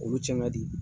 Olu cɛn ka di